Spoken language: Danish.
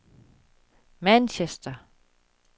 Manchester